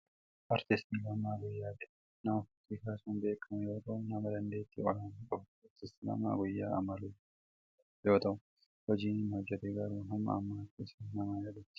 Artist Lammaa Guyyaa jedhama. Nama fakkiii kaasuun beekamu yoo ta'u, nama dandeettii olaanaa qabu ture. Artist Lammaa Guyyaa amma lubbuun kan hin jirree yoo ta'u, hojiin inni hojjate garuu hamma ammatti isa nama yaadachiisu.